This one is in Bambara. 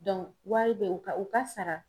wari bɛ u ka u ka sara